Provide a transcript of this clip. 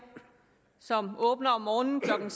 som åbner om morgenen klokken